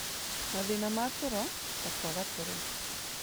Mathĩna ma toro, ta kwaga toro,